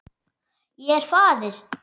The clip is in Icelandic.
Ég er faðir.